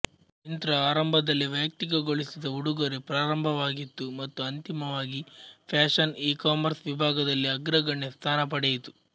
ಮಿಂತ್ರಾ ಆರಂಭದಲ್ಲಿ ವೈಯಕ್ತಿಕಗೊಳಿಸಿದ ಉಡುಗೊರೆ ಪ್ರಾರಂಭವಾಗಿತ್ತು ಮತ್ತು ಅಂತಿಮವಾಗಿ ಫ್ಯಾಷನ್ ಇಕಾಮರ್ಸ್ ವಿಭಾಗದಲ್ಲಿ ಅಗ್ರಗಣ್ಯ ಸ್ಥಾನ ಪಡೆಯಿತು